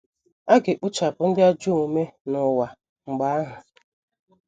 A ga - ekpochapụ ndị ajọ omume n’ụwa mgbe ahụ.